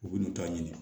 U bin'u ta ɲini